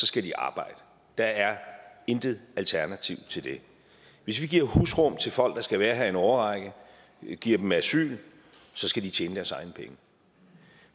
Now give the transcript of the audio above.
skal de arbejde der er intet alternativ til det hvis vi giver husrum til folk der skal være her i en årrække giver dem asyl så skal de tjene deres egne penge